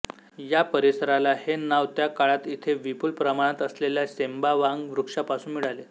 या परिसराला हे नाव त्या काळात इथे विपुल प्रमाणात असलेल्या सेंबावांग वृक्षापासून मिळाले